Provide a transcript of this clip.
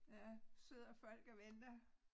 Ja sidder folk og venter